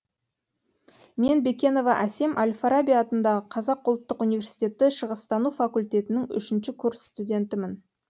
мен бекенова асем әл фараби атындағы қазақ ұлттық университеті шығыстану факультетінің үшінші курс стундетімін